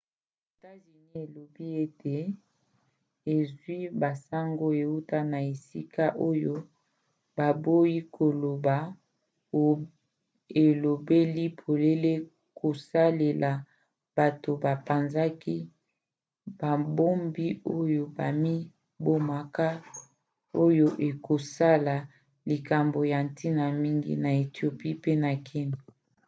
etats-unis elobi ete ezwi basango euti na esika oyo baboyi koloba elobeli polele kosalela bato bapanzaki babombi oyo bamibomaka oyo ekozala likambo ya ntina mingi na ethiopie pe na kenya